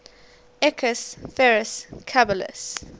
equus ferus caballus